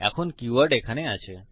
এখন কীওয়ার্ডস এখানে আছে